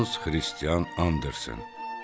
Hans Kristian Andersen.